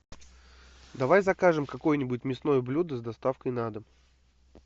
давай закажем какое нибудь мясное блюдо с доставкой на дом